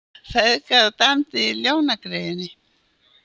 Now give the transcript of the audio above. Feðgar dæmdu í Ljónagryfjunni